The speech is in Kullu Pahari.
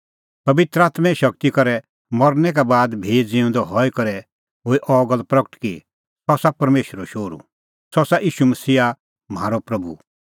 पबित्र आत्में शगती करै मरनै का बाद भी ज़िऊंदअ हई करै हुई अह गल्ल प्रगट कि सह आसा परमेशरो शोहरू सह आसा ईशू मसीहा म्हारअ प्रभू